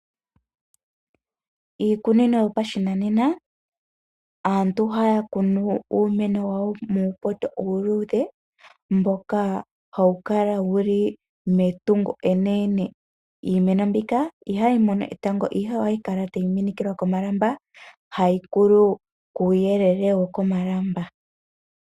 Iikunino yopashinanena aantu ohaya kunu uumeno wawo muupoto uuludhe mboka hawu kala wuli meni lyetungo enene. Iimeno mbika ihayi mono etango ihe ohayi kala tayi minikilwa komalamba, ohayi koko kuyelele womalamba.